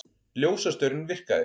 Ljósastaurinn virkaði